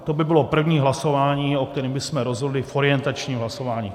To by bylo první hlasování, o kterém bychom rozhodli v orientačním hlasování.